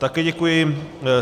Také děkuji.